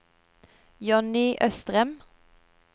Jonny Østrem